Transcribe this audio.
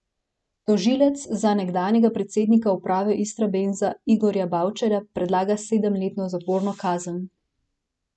Tožilec za nekdanjega predsednika uprave Istrabenza Igorja Bavčarja predlaga sedemletno zaporno kazen.